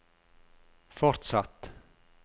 fortsatt